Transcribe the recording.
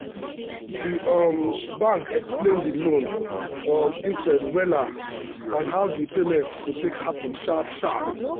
um the um bank explain the loan um interest wella and how the payment go take happen sharp sharp.